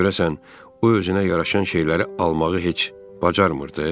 Görəsən o özünə yaraşan şeyləri almağı heç bacarmırdı?